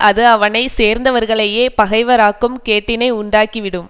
அது அவனை சேர்ந்தவர்களையே பகைவராக்கும் கேட்டினை உண்டாக்கி விடும்